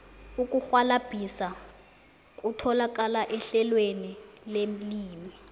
ukurhwalabhisa kutholakala ehlelweni lelimi